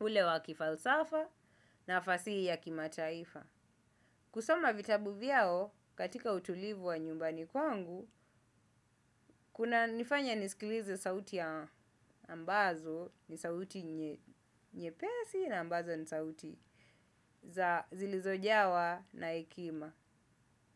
ule wa kifalsafa na fasihi ya kimataifa. Kusoma vitabu vyao katika utulivu wa nyumbani kwangu kuna nifanya nisikilize sauti ambazo ni sauti nyepesi na ambazo ni sauti za zilizojawa na hekima.